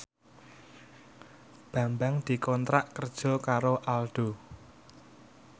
Bambang dikontrak kerja karo Aldo